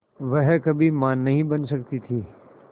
वह कभी मां नहीं बन सकती थी